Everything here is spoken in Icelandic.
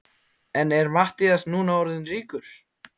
En er Matthías núna orðinn ríkur?